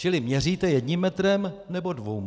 Čili měříte jedním metrem, nebo dvěma?